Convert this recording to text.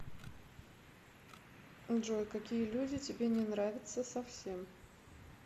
джой какие люди тебе не нравятся совсем